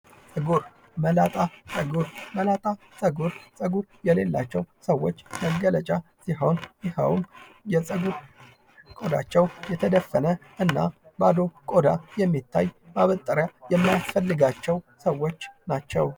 ጸጉር፦ መላጣ ጸጉር፦ መላጣ ጸጉር ጸጉርየሌላቸው ሰወች መገለጫ ሲሆን ይኸውም ጸጉር የቆዳቸው የተደፈነ እና ባዶ ቆዳ የሚታይ እና ማበጠሪያ የሚያስፈልጋቸው ሰዎች ናቸው።